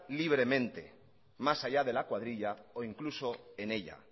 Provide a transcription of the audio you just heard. libremente más allá de la cuadrilla o incluso en ella